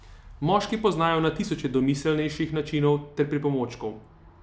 Moški poznajo na tisoče domiselnejših načinov ter pripomočkov.